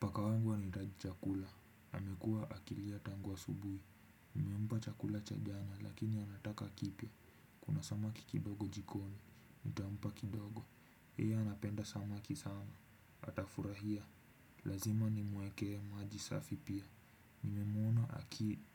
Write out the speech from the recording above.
Paka wangu anahitaji chakula. Amekuwa akilia tangu asubuhi. Nimempa chakula cha jana lakini anataka kipya. Kuna samaki kidogo jikoni. Nitampa kidogo. Yeye anapenda samaki sana. Atafurahia. Lazima nimwekee maji safi pia. Nimemwona